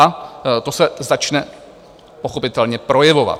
A to se začne pochopitelně projevovat.